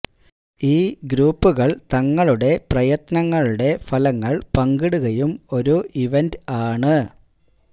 ഈ ഗ്രൂപ്പുകൾ തങ്ങളുടെ പ്രയത്നങ്ങളുടെ ഫലങ്ങൾ പങ്കിടുകയും ഒരു ഇവന്റ് ആണ്